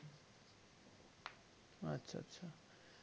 আচ্ছা আচ্ছা